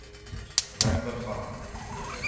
Vendar pa!